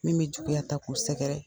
Min bi juguya ta k'u sɛgɛrɛ.